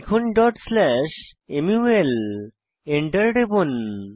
লিখুন dot slash মুল Enter টিপুন